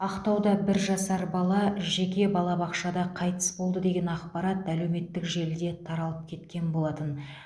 ақтауда бір жасар бала жеке балабақшада қайтыс болды деген ақпарат әлеуметтік желіде таралып кеткен болатын